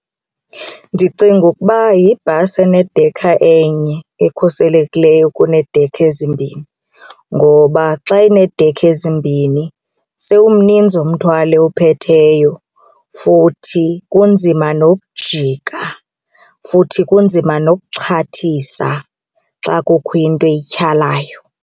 Ndicinga ukuba yibhasi enedekha enye ekhuselekileyo kuneedekha ezimbini ngoba xa ineedekha ezimbini sewumninzi umthwalo ewuphetheyo futhi kunzima nokujika, futhi kunzima nokuxhathisa xa kukho into eyityhalayo.